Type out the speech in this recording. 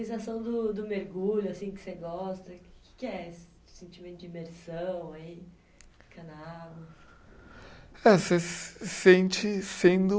Sensação do do mergulho assim que você gosta, que que é esse sentimento de imersão aí, ficar na água? Eh você sente sendo